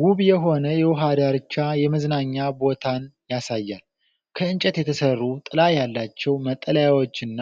ውብ የሆነ የውሃ ዳርቻ የመዝናኛ ቦታን ያሳያል። ከእንጨት የተሠሩ ጥላ ያላቸው መጠለያዎችና